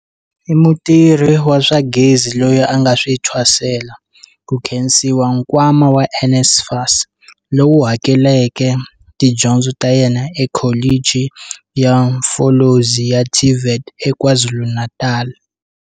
I mutirhi wa swa gezi loyi a nga swi thwasela, ku khensiwa nkwama wa NSFAS, lowu hakeleleke tidyondzo ta yena eKholichi ya Umfolozi ya TVET eKwaZulu-Natal.